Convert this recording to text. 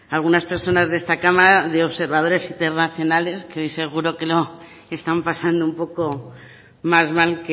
algunas personas de esta cámara de observadores internacionales que hoy seguro que lo están pasando un poco más mal